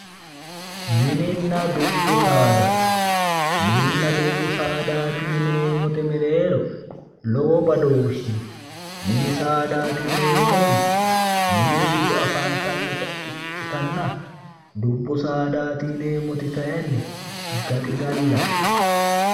Mininna dubbi saada, mininna dubbi saadati yinneemmote mereero lowo badooshi no, mini saadati yinneemmoti mini giddo afantanotta ikkittanna dubbu saadati yinneemmoti kayinni gaxigallate